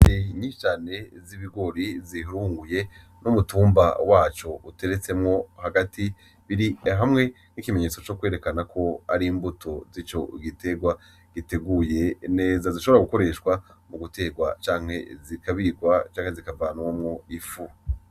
Intete nyinshi cane z'ibigori bihunguruye, n'umutumba waco uteretsemwo hagati, biri hamwe nk'ikimenyetso co kwerekana ko ari imbuto z'ico giterwa ziteguye neza, zishobora gukoreshwa muguterwa canke zikabikwa canke zikavanwamwo ifu.